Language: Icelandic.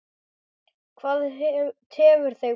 Hvað tefur þig bróðir?